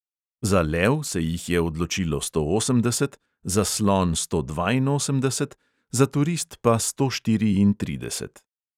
Za lev se jih je odločilo sto osemdeset, za slon sto dvainosemdeset, za turist pa sto štiriintrideset.